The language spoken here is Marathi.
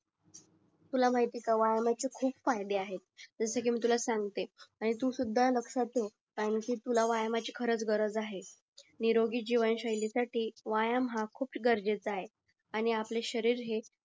तू ला माहिती आहे का जसे कि मी तुला सांगते आणि तू सुद्धा लक्षात ठेव कारण कि तुला व्यायामाची खरंच गरज आहे निरोगी जीवन शैलीसाठी व्यायाम हा खूप गरजेचं आहे आणि आपले शरीर हे